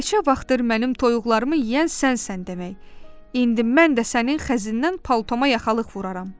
"Neçə vaxtdır mənim toyuqlarımı yeyən sənsən demək, indi mən də sənin xəzinədən paltoma yaxalıq vuraram!"